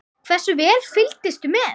Hversu vel fylgdist þú með?